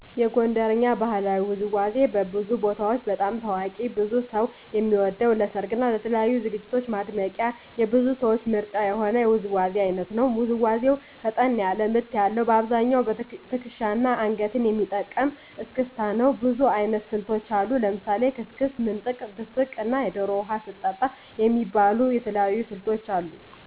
የጎንደርኛ ባህላዊ ውዝዋዜ በብዙ ቦታዎች በጣም ታዋቂ ብዙ ሰው የሚወደው ለሰርግ እና ለተለያዩ ዝግጅቶች ማድመቂያ የብዙ ሰዎች ምርጫ የሆነ የውዝዋዜ አይነት ነው። ውዝዋዜው ፈጠን ያለ ምት ያለዉ : በአብዛኛው ትክሻና አንገትን የሚጠቀም እስክስታ ነው። ብዙ አይነት ስልቶች አሉት። ለምሳሌ ስክስክ፣ ምንጥቅ፣ ድስቅ እና ዶሮ ውሃ ስትጠጣ የሚባሉ የተለያዩ ስልቶች አሉት።